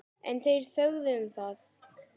En þeir þögðu um það.